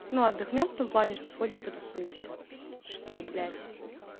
ну отдохнём в том плане что сходим потусуемся что блять